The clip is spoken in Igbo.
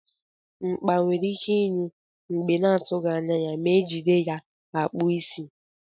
Mkpa nwere ike inyụ mgbe na atughi anya ma ejide ya akpụ isi.